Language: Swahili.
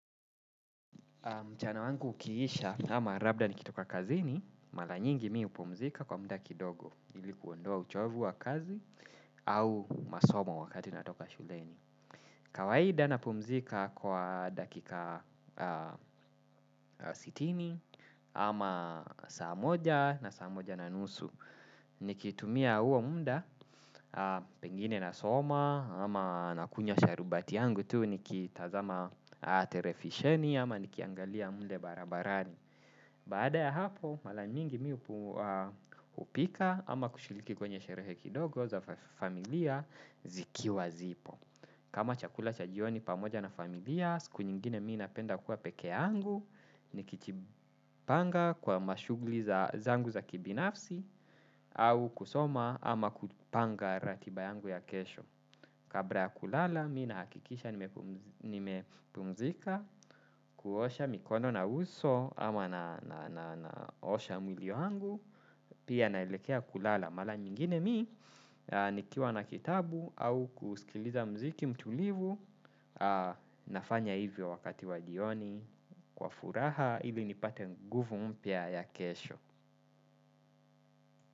Mchana wangu ukiisha ama labda nikitoka kazini, mara nyingi mimi hupumzika kwa muda kidogo ilikuondoa uchovu wa kazi au nasoma wakati natoka shuleni. Kawaida napumzika kwa dakika sitini ama saa moja na saa moja na nusu nikitumia huo muda pengine nasoma ama nakunywa sharubati yangu tu nikitazama televisheni ama nikiangalia mle barabarani. Baada ya hapo, mara mingi mimi hupika ama kushiriki kwenye sherehe kidogo za familia, zikiwa zipo. Kama chakula cha jioni pamoja na familia, siku nyingine mimi napenda kuwa peke yangu, nikijipanga kwa mashuguli zangu za kibinafsi, au kusoma ama kupanga ratiba yangu ya kesho. Kabla ya kulala, mimi nahakikisha nimepumzika, kuosha mikono na uso ama naosha mwili wangu, pia naelekea kulala. Mara nyingine mimi, nikiwa na kitabu au kusikiliza muziki mtulivu, nafanya hivyo wakati wa jioni, kwa furaha, hivyo nipate nguvu mpia ya kesho.